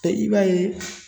E i b'a ye